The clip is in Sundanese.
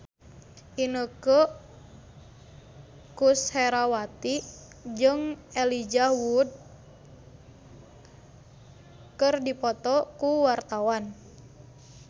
Inneke Koesherawati jeung Elijah Wood keur dipoto ku wartawan